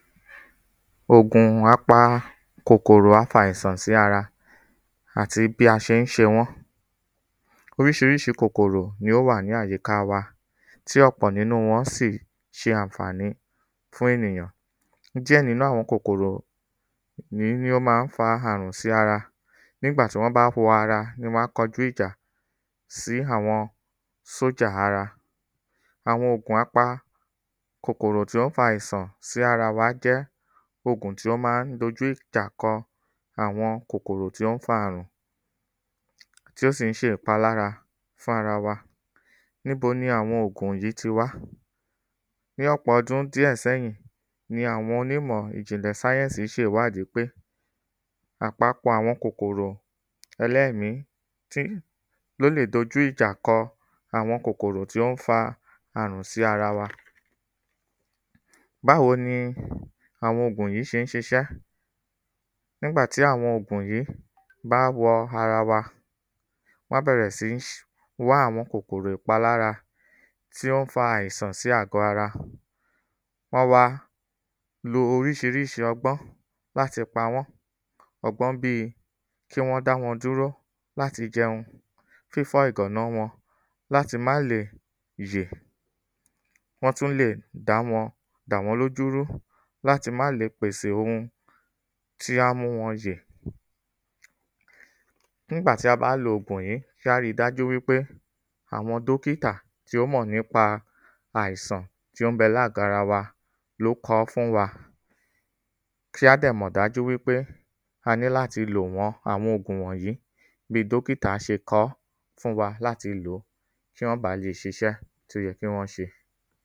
Ògùn apa kòkòrò afàìsàn sí ara àti bí a ṣé ń ṣe wọ́n Oríṣiríṣi kòkòrò ni ó wà ní àyíká wa tí ọ̀pọ̀ n'ínú wọn sì ṣe ànfàní fún ènìyàn. Díẹ̀ n'ínú àwọn kòkòrò ní ó má ń fa àrùn sí ara. N'ígbà tí wọ́n bá wọ ara ni wọ́n á kọjú ìjà sí àwọn sójà ara Àwọn ògùn apa kòkòrò tí ó n fa afàìsàn sí ara wa jẹ́ ògùn tí ọ́ má ń d'ojú ìjà kọ àwọn kòkòrò tí ó ń fa àrùn tí ó sì ń ṣe ìpalára fún ara wa. N'íbo ni àwọn ògùn yí ti wá Ní ọpọ̀ ọdún díẹ̀ s'ẹ́yín, ni àwọn onímọ ìjìnlẹ̀ sáyẹ̀nsì ṣe ìwádí pé àpapọ̀ àwọn kòkòtò ẹlẹ́mí tí t'ó lè d'ojú ìjà kọ àwọn kòkòrò tí ó ń fa àrùn sí ara wa Báwo ni àwọn ògùn yìí ṣé ń ṣiṣẹ́? N'ígbà tí àwọn ògùn yìí bá wọ ara wa, wọ́n á bẹ̀rẹ̀ sí ń wá àwọn kòkòrò ìpalára tí ó ń fa àìsàn sí ara Wọ́n á wá lo oríṣiríṣi ọgbọ́n l'áti pa wọ́n Ọgbọ́n bí i kí wọ́n dá wọn dúró l'áti jẹun Fífọ́ ìgàná wọn l'áti má le yè. Wọ́n tú lè dà wọ́n l'ójú rú l'áti má le pèsè ohun tí á mú wọn yè N'ígbà tí a bá lo ògùn yí kí á ri dájú wí pé àwọn dókítà tí ó mọ̀ n'ípa àìsàn tí ó ń bẹ l'ágọ̀ ara wa wa ló kan fún wọn Kí á dẹ̀ mọ̀ dájú wí pé a ní l'áti lò wọn àwọn ògùn wọ̀nyí bi dókítà ṣe kọ́ fún wa l'áti lòó kí ọ́n ba lè ṣiṣẹ́ t’ó yẹ kí wọ́n ṣe.